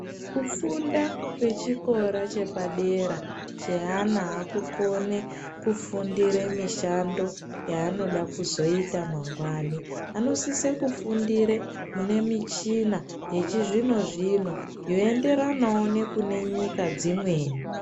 Kufunda kwechikora chepadera cheana aakukone kufundire mishando yaanoda kuzoita mangwani. Anosise kufundire mune michina yechizvino-zvino yoenderanawo nekune nyika dzimweni.